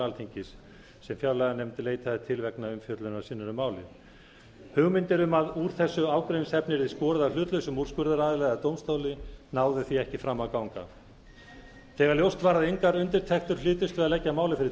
alþingis sem fjárlaganefnd leitaði til vegna umfjöllunar sinnar um málið hugmyndir um að úr þessu ágreiningsefni yrði skorið af hlutlausum úrskurðaraðila eða dómstóli náðu því ekki fram að ganga þegar ljóst var að engar undirtektir hlytust við að leggja málið fyrir